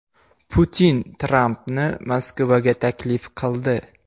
Putin Trampni Moskvaga taklif qildi.